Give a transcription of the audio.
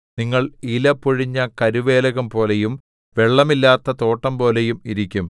നിങ്ങൾ ഇല പൊഴിഞ്ഞ കരുവേലകംപോലെയും വെള്ളമില്ലാത്ത തോട്ടംപോലെയും ഇരിക്കും